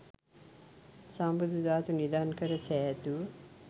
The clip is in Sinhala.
සම්බුදු ධාතු නිධන් කර සෑදූ